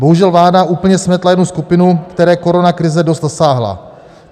Bohužel vláda úplně smetla jednu skupinu, které koronakrize dost zasáhla.